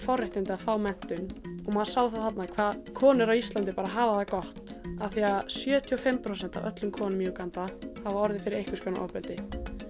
forréttindi að fá menntun og maður sá það þarna hvað konur á Íslandi hafa það gott af því að sjötíu og fimm prósent af öllum konum hafa orðið fyrir einhvers konar ofbeldi